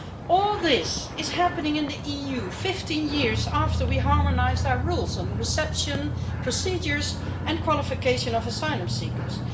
All this is happening in the EU 15 years after we harmonised our rules on the reception, procedures and qualification of asylum seekers.